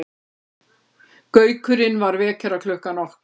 Gaukurinn var vekjaraklukkan okkar.